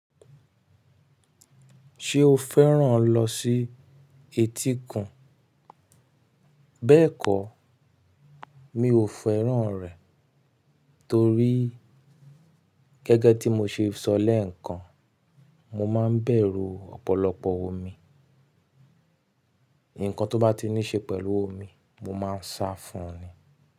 Ṣé o fẹ́ràn lọ sí etíkun? Bẹ́ẹ̀kọ́, mi ò fẹ́ràn rẹ̀ torí gẹ́gẹ́ tí mo ṣe sọ lẹ́ẹ̀kan, mo máa ń bẹ̀rù ọ̀pọ̀lọpọ̀ omi. Ǹkan tó bá ti ní ṣe pẹ̀lú omi, mo máa ń sá fún un ni.